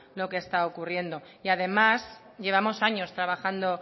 lo que está ocurriendo y además llevamos años trabajando